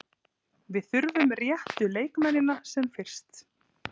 Við þurfum réttu leikmennina sem fyrst.